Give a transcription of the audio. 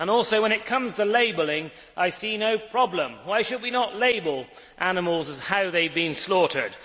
Also, when it comes to labelling, I see no problem. Why should we not label animals as to how they have been slaughtered?